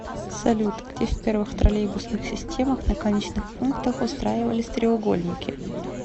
салют где в первых троллейбусных системах на конечных пунктах устраивались треугольники